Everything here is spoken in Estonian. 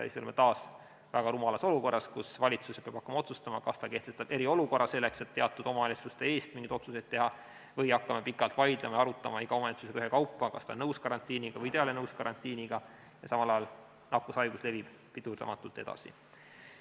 Siis me oleme taas väga rumalas olukorras, kus valitsus peab hakkama otsustama, kas ta kehtestab eriolukorra, selleks et teatud omavalitsuste eest mingeid otsuseid teha, või hakkame pikalt vaidlema ja arutama iga omavalitsusega ühekaupa, kas ta on nõus karantiiniga või ta ei ole nõus, ja samal ajal nakkushaigus levib pidurdamatult edasi.